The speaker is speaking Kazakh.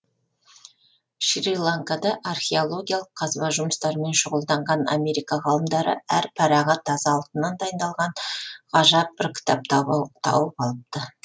шри ланкада археологиялық қазба жұмыстарымен шұғылданған америка ғалымдары әр парағы таза алтыннан дайындалған ғажап бір кітап тауып алыпты